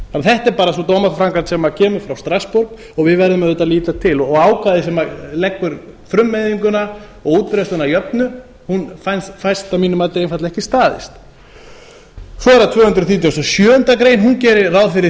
þetta er bara sú dómaframkvæmd sem kemur frá strassborg og við verðum auðvitað að líta til ákvæði sem leggur frummeiðinguna og útbreiðsluna að jöfnu hún fæst að mínu mati einfaldlega ekki staðist svo er það tvö hundruð þrítugustu og sjöundu grein hún gerir ráð fyrir